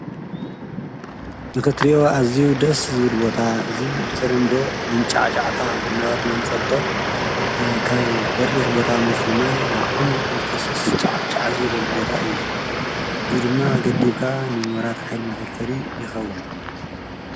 እዚ ምስሊ ማይ መንጫዕጫዕታ ኮይኑ ካብ በሪኽ ቦታ ዝወርድ ማይ እንትኸውን ንመስኖን መብራህትን ይጠቅም።